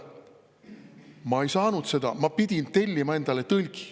Ma ei saanud seda, ma pidin tellima endale tõlgi.